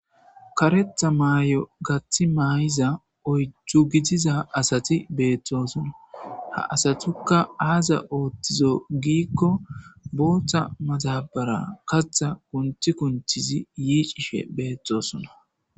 karetha maay7o gaththi maay7iza oyju gidiza asati beeththosona ha asatukka aaza ooththizo giikko booththa matabara katha kunthi kunctchizi yiicishe beetthosona